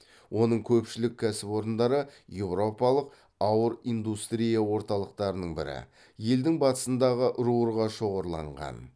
оның көпшілік кәсіпорындары еуропалық ауыр индустрия орталықтарының бірі елдің батысындағы рурға шоғырланған